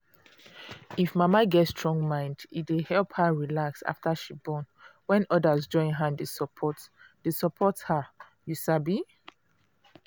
if mama get strong mind e dey help her relax after she born when others join hand dey support dey support her you sabi.